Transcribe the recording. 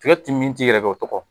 Tigɛ ti min ti yɛrɛ dɔn o tɔgɔ?